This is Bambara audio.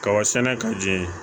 Kaba sɛnɛ ka jɛ